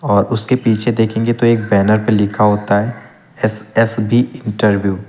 और उसके पीछे देखेंगे तो एक बैनर पे लिखा होता है एस_एस_बी इंटरव्यू ।